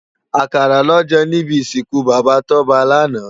Akàrá lò jè nibi isinkú Baba Toba làná